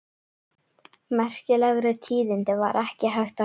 Merkilegri tíðindi var ekki hægt að heyra.